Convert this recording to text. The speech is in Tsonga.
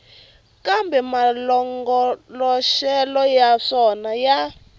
kambe malongoloxelo ya swona ya